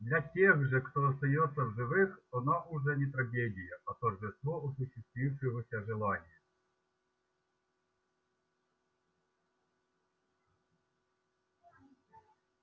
для тех же кто остаётся в живых она уже не трагедия а торжество осуществившегося желания